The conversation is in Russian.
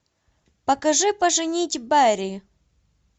покажи поженить бэрри